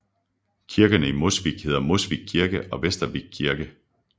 Kirkerne i Mosvik hedder Mosvik kirke og Vestvik kirke